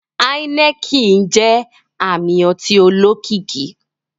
Heineken jẹ ami ọti olokiki.